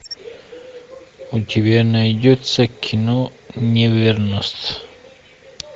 у тебя найдется кино неверность